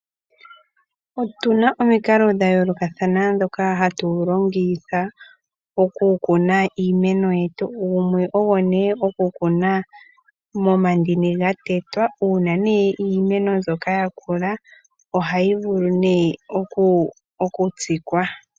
Otuna omikalo dha yoolokathana ndhoka hatu longitha okukuna iimeno yetu. Gumwe ogo ne okukuna momandini gatetwa uuna ne iimeno mbyoka yakoko ohayi vulu ne okutsikwa.